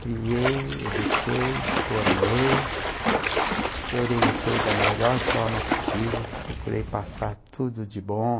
criei, eduquei, formei e orientei da melhor forma possível, procurei passar tudo de bom.